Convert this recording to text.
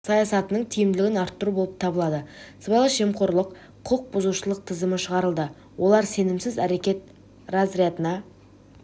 саясатының тиімділігін арттыру болып табылады сыбайлас жемқорлық құқық бұзушылық тізімі шығарылды олар сенімсіз әрекет разрядына